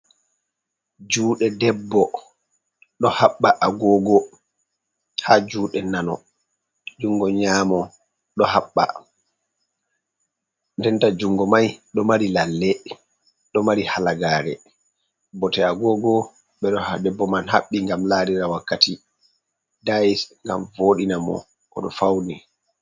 Juuɗe debbo ɗo haɓɓa agogo ha juuɗe nano, jungo nyaamo ɗo haɓɓa, nden ta jungo mai ɗo mari lalle ɗo mari halagare. Bote agogo ɓe ɗo ha debbo man habɓi ngam laarira wakkati, dayis ngam vooɗina mo oɗo fauni.